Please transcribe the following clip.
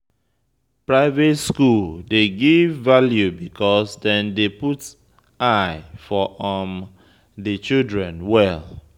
Private school dey give value because dem dey put eye for di children well